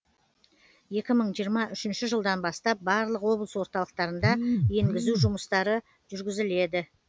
екі мың жиырма үшінші жылдан бастап барлық облыс орталықтарында енгізу жұмыстары жүргізіледі